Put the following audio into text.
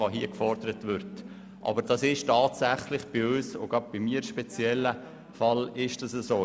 In diesem speziellen Fall ist dies für die EDU-Fraktion und insbesondere für mich so.